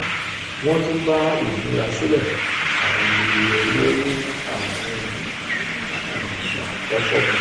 wọ́n tún bá ìmúrasílẹ̀ um àwọn iye um owó ní àárín gbùngbùn àkókò mu.